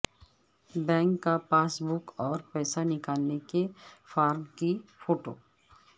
bank کا passbook اور پیسہ نکالنے کے فارم کی فوٹو